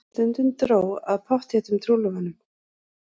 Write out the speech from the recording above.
Stundum dró að pottþéttum trúlofunum.